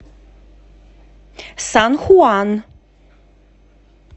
сан хуан